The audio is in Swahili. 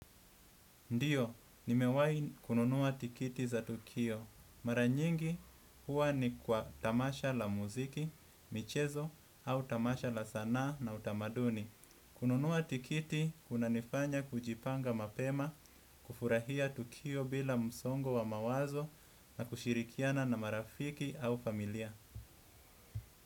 Ndiyo, nimewahi kununua tiketi za tukio. Mara nyingi huwa ni kwa tamasha la muziki, michezo au tamasha la sanaa na utamaduni. Kununua tiketi, kunanifanya kujipanga mapema, kufurahia tukio bila msongo wa mawazo na kushirikiana na marafiki au familia.